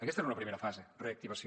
aquesta era una primera fase reactivació